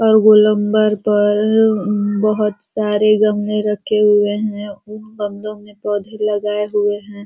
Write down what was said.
और गोलम्बर पर बहुत सारे गमले रखे हुए हैं। उन गमलों में पौधे लगाए हुए हैं।